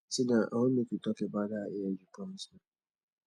sit down i wan make we talk about dat hair you promise me